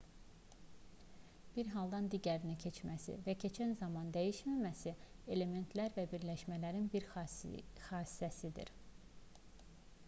bir haldan digərinə keçməsi və keçən zaman dəyişməməsi elementlər və birləşmələrin bir xassəsidir